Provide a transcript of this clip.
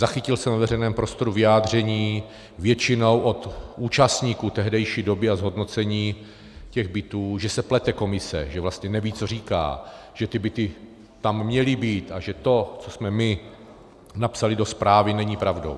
Zachytil jsem ve veřejném prostoru vyjádření většinou od účastníků tehdejší doby a zhodnocení těch bytů, že se plete komise, že vlastně neví, co říká, že ty byty tam měly být a že to, co jsme my napsali do zprávy, není pravdou.